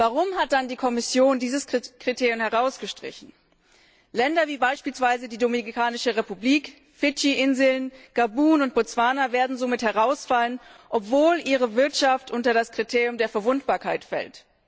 Warum hat dann die Kommission dieses Kriterium herausgestrichen? Länder wie beispielsweise die Dominikanische Republik, Fidschi Inseln, Gabun und Botswana werden somit herausfallen, obwohl ihre Wirtschaft unter das Kriterium der Verwundbarkeit fällt.